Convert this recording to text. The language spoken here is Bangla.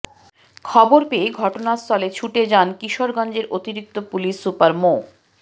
খবর পেয়ে ঘটনাস্থলে ছুটে যান কিশোরগঞ্জের অতিরিক্ত পুলিশ সুপার মো